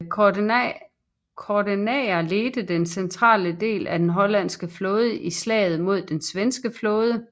Kortenaer ledte den centrale del af den hollandske flåde i slaget mod den svenske flåde